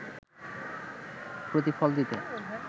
প্রতিফল দিতে